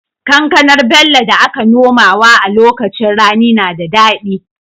Kankanar Bello da aka nomawa a lokacin rani na da dadi